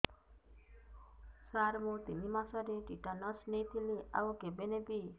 ସାର ମୁ ତିନି ମାସରେ ଟିଟାନସ ନେଇଥିଲି ଆଉ କେବେ ନେବି